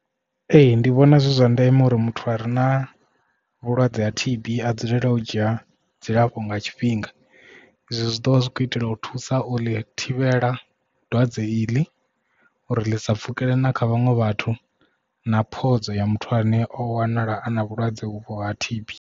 Ee ndi vhona zwi zwa ndeme uri muthu a re na vhulwadze ha T_B a dzulele u dzhia dzilafho nga tshifhinga izwi zwi ḓo vha zwi khou itela u thusa uḽi thivhela dwadze iḽi uri ḽi sa pfhukele na kha vhaṅwe vhathu na phodzo ya muthu ane o wanala a na vhulwadze uvho ha T_B.